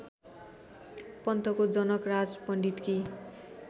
पन्तको Janakraj पण्डितकी